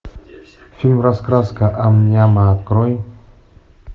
фильм раскраска ам няма открой